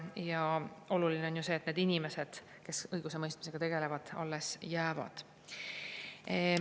Ja oluline on ju see, et need inimesed, kes õigusemõistmisega tegelevad, alles jäävad.